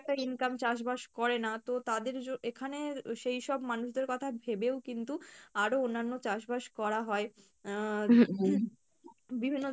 একটা income চাষ বাস করে না তো তাদের জন্য এখানে সেই সব মানুষদের কথা ভেবেও কিন্তু আরো অন্যান্য চাষ বাস করা হয়, আহ বিভিন্ন